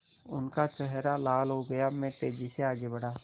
उनका चेहरा लाल हो गया मैं तेज़ी से आगे बढ़ा